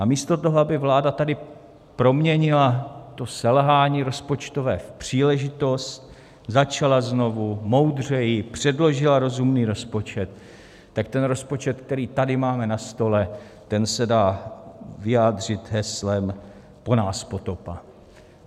A místo toho, aby vláda tady proměnila to selhání rozpočtové v příležitost, začala znovu, moudřeji, předložila rozumný rozpočet, tak ten rozpočet, který tady máme na stole, ten se dá vyjádřit heslem po nás potopa.